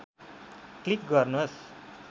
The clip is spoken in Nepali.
क्लिक गर्नुस्